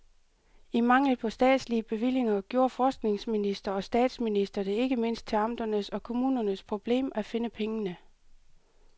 I mangel på statslige bevillinger gjorde forskningsminister og statsminister det ikke mindst til amternes og kommunernes problem at finde pengene.